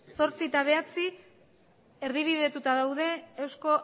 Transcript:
zortzi eta bederatzi erdibidetuta daude euzko